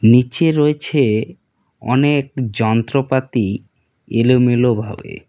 নিচে রয়েছে অনেক যন্ত্রপাতি এলোমেলোভাবে।